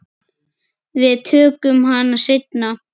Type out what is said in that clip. Við tökum hana seinna.